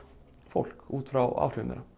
fólk út frá áhrifum þeirra